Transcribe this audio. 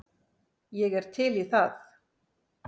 Ég er til í það.